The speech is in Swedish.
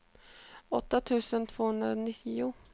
åtta tusen tvåhundranio